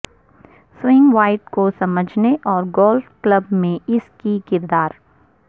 swing weight کو سمجھنے اور گولف کلب میں اس کی کردار